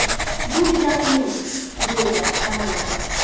Bu juda qiyin”, deydi Ronaldu.